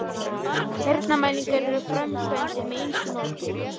Heyrnarmælingar eru framkvæmdar með ýmsu móti.